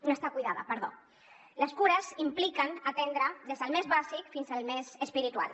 no està cuidada perdó les cures impliquen atendre des del més bàsic fins al més espiritual